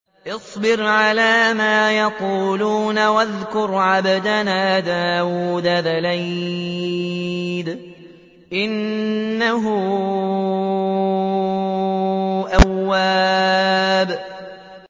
اصْبِرْ عَلَىٰ مَا يَقُولُونَ وَاذْكُرْ عَبْدَنَا دَاوُودَ ذَا الْأَيْدِ ۖ إِنَّهُ أَوَّابٌ